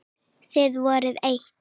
Þið voruð eitt.